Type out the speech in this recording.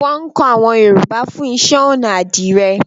Wọn kọ àwọn Yorùbá fún iṣẹ́-ọnà àdìrẹ́.